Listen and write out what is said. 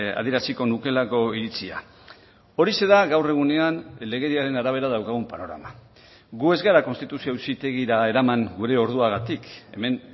adieraziko nukeelako iritzia horixe da gaur egunean legediaren arabera daukagun panorama gu ez gara konstituzio auzitegira eraman gure orduagatik hemen